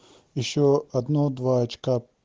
ещё одно-два очка